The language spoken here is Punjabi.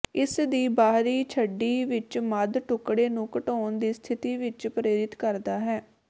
ਇਸ ਦੀ ਬਾਹਰੀ ਛੱਡੀ ਵਿੱਚ ਮੱਧ ਟੁਕੜੇ ਨੂੰ ਘਟਾਉਣ ਦੀ ਸਥਿਤੀ ਵਿੱਚ ਪ੍ਰੇਰਿਤ ਕਰਦਾ ਹੈ